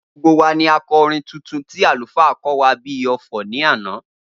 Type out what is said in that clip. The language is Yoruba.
Gbogbo wa ni a kọ orin tuntun tí àlùfáà kó wá bíi ọfọ̀ ní àná